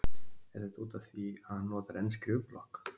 Er þetta útaf því að hann notar enn skrifblokk?